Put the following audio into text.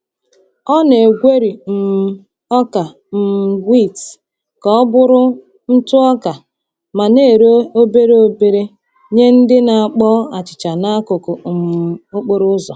Ọ na-egweri um ọka um wit ka ọ bụrụ ntụ ọka ma na-ere obere obere nye ndị na-akpọ achịcha n’akụkụ um okporo ụzọ.